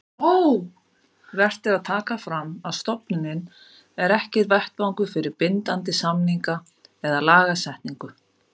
Vert er að taka fram að stofnunin er ekki vettvangur fyrir bindandi samninga eða lagasetningu.